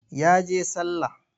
Ya je sallah.